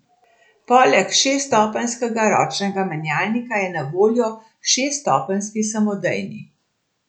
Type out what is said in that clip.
Poleg šeststopenjskega ročnega menjalnika je na voljo šeststopenjski samodejni.